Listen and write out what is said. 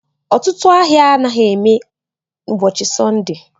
Ọtụtụ ahịa anaghị emeghe ụbọchị Sọnde